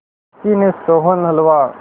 किसी ने सोहन हलवा